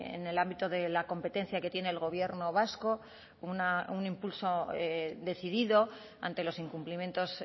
en el ámbito de la competencia que tiene el gobierno vasco un impulso decidido ante los incumplimientos